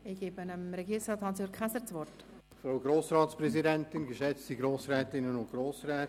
Ich erteile das Wort Herrn Regierungsrat Hans-Jürg Käser.